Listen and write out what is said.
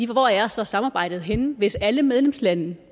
hvor er så samarbejdet henne hvis alle medlemslande